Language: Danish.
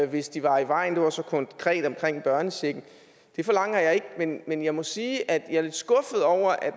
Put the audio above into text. hvis de var i vejen det var så konkret om børnechecken det forlanger jeg ikke men jeg må sige at jeg er lidt skuffet over at